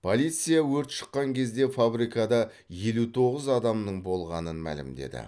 полиция өрт шыққан кезде фабрикада елу тоғыз адамның болғанын мәлімдеді